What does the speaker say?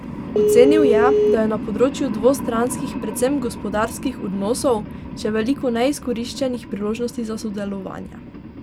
Ocenil je, da je na področju dvostranskih, predvsem gospodarskih odnosov, še veliko neizkoriščenih priložnosti za sodelovanje.